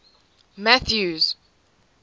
mathews